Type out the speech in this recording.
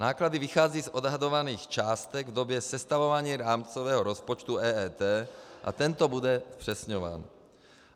Náklady vychází z odhadovaných částek v době sestavování rámcového rozpočtu EET a tento bude zpřesňován.